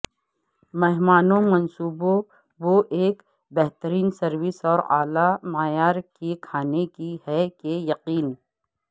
مہمانوں منصوبوں وہ ایک بہترین سروس اور اعلی معیار کی کھانے کی ہے کہ یقین